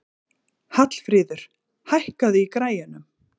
Hallfríður, hækkaðu í græjunum.